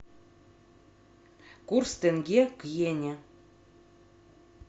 курс тенге к йене